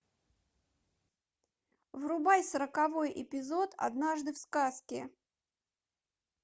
врубай сороковой эпизод однажды в сказке